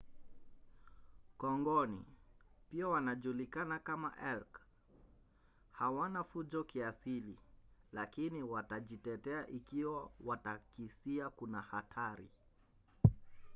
kongoni pia wanajulikana kama elk hawana fujo kiasili lakini watajitetea ikiwa watakisia kuna hatari